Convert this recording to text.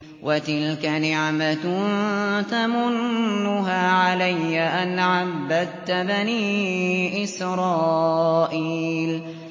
وَتِلْكَ نِعْمَةٌ تَمُنُّهَا عَلَيَّ أَنْ عَبَّدتَّ بَنِي إِسْرَائِيلَ